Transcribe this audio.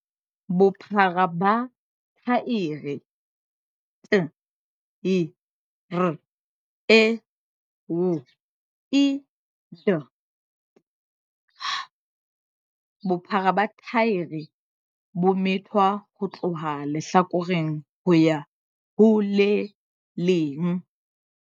Bophara ba thaere, tyre width, - Bophara ba thaere bo methwa ho tloha lehlakoreng ho ya ho le leng.